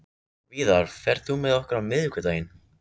Víðar, ferð þú með okkur á miðvikudaginn?